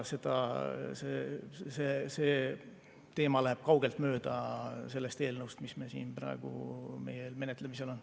See teema läheb kaugelt mööda sellest eelnõust, mis meil siin praegu menetlemisel on.